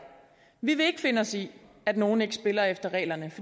vi vil ikke finde os i at nogle ikke spiller efter reglerne